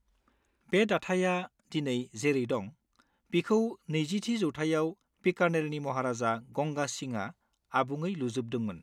बे दाथाया दिनै जेरै दं, बिखौ नैजिथि जौथाइयाव बीकानेरनि महाराजा गंगा सिंहआ आबुङै लुजोबदोंमोन।